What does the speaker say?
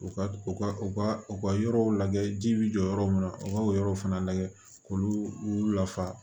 U ka u ka u ka u ka yɔrɔw lajɛ ji bi jɔ yɔrɔ min na u ka o yɔrɔw fana lajɛ k'olu lafa